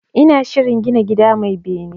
Ina shirin gina gida mai bene